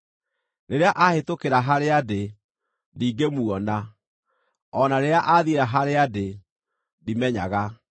Rĩrĩa aahĩtũkĩra harĩa ndĩ, ndingĩmuona; o na rĩrĩa aathiĩra harĩa ndĩ ndimenyaga.